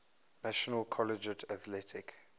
national collegiate athletic